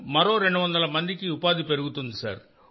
మరో 200 మందికి ఉపాధి పెరుగుతుంది సార్